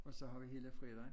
Og så har vi hele fredagen